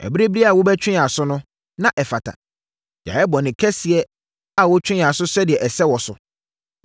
Ɛberɛ biara a wobɛtwe yɛn aso no, na ɛfata. Yɛayɛ bɔne kɛseɛ a wotwe yɛn aso sɛdeɛ ɛsɛ wɔ so.